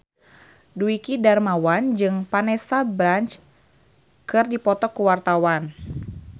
Dwiki Darmawan jeung Vanessa Branch keur dipoto ku wartawan